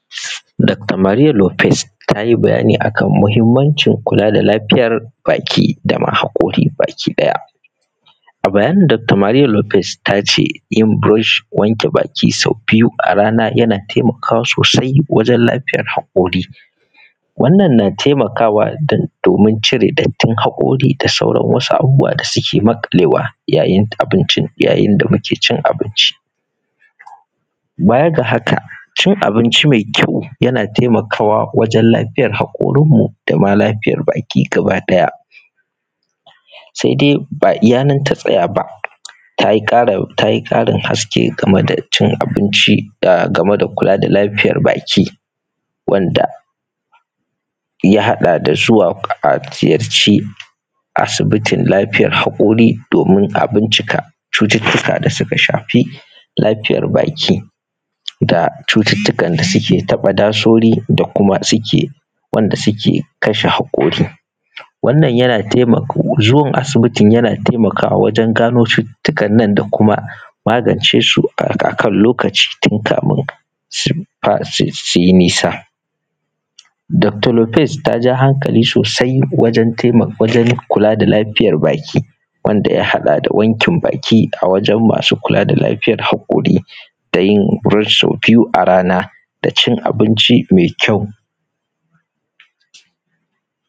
Dakta Maria Lopez, ta yi bayani a kan mahimmancin kula da lafiyar baki da ma haƙori bakiɗaya. A bayanin dakta Maria Lopez, ta ce, yin burosh, wanke baki sau biyu a rana yana temakawa sosai wajen lafiyar haƙori. Wannan na temakawa dan; domin cire dattin haƙori da sauran wasu abubuwa da suke maƙalewa, yayin abincin; yayin da muke cin abinci Baya ga haka, cin abinci me kyau, yana temakawa wajen lafiyar haƙorinmu, da ma lafiyar baki gabaɗaya. Se de, ba iya nan ta tsaya ba, ta yi ƙarin; ta yi ƙarin haske game da cin abinci, da game da kula da lafiyar baki wanda ya haɗa da suwaƙ; a ziyarci asibitin lafiyar haƙori domin a bincika cututtuka da suka shafi lafiyar baki, da cututtukan da suke taƃa dasori da kuma suke, wanda suke kashe haƙori. Wannan yana temako; zuwan asibitin yana temakawa wajen gano cututtukan nan da kuma magance su a; a kan lokaci tun kamin su fa; sus; su yi nisa. Dakta Lopez, ta ja hankali sosai wajen tema; wajen kula da lafiyar baki, wanda ya haɗa da wankin baki a wajen masu kula da lafiyar haƙori, da yin burosh sau biyu a rana da cin abinci me kyau.